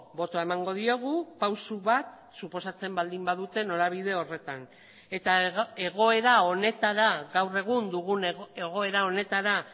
botoa emango diogu pausu bat suposatzen baldin badute norabide horretan eta egoera honetara gaur egun dugun egoera honetara